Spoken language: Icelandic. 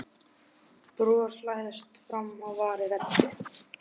Lítið spennandi að húka heima upp á kant við kallinn.